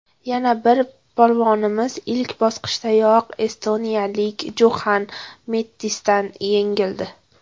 Yana bir polvonimiz ilk bosqichdayoq estoniyalik Juxan Mettisdan yengildi.